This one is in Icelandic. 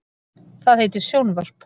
Það heitir sjónvarp.